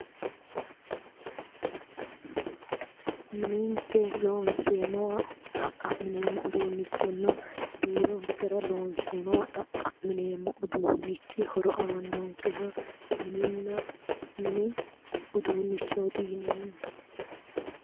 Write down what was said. Minenikke looniseemowa xa'qamineemo uduunnichona biro ikera looniseemowa xa'qamineemo horo aanonikke mininna mini uduunnichooti yineemo